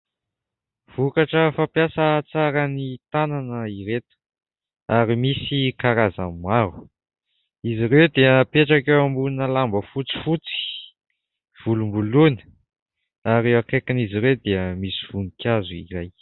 Vokatra fampiasa tsara ny tanana ireto ary misy karazany maro. Izy ireo dia apetraka eo ambonina lamba fotsifotsy, volomboloina ary akaikin'izy ireo dia misy voninkazo iray.